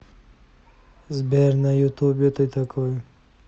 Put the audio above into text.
сбер на ютубе ты такой